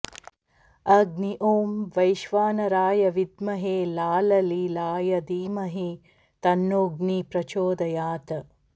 अग्नि ॐ वैश्वानराय विद्महे लाललीलाय धीमहि तन्नोऽग्निः प्रचोदयात्